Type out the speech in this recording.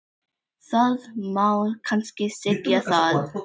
Það má kannski segja það.